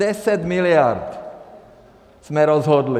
Deset miliard jsme rozhodli.